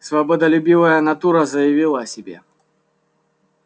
свободолюбивая натура заявила о себе